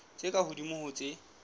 tse ka hodimo ho tse